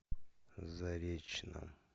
заречном